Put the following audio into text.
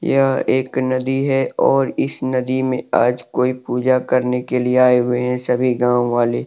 यह एक नदी है और इस नदी में आज कोई पूजा करने के लिए आए हुए हैं सभी गांव वाले।